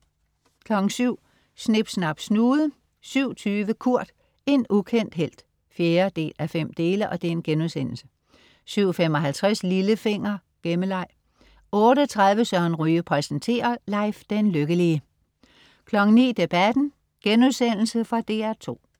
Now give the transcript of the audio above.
07.00 Snip Snap Snude 07.20 Kurt. En ukendt helt 4:5* 07.55 Lillefinger. Gemmeleg 08.30 Søren Ryge præsenterer. Leif den Lykkelige 09.00 Debatten.* Fra DR2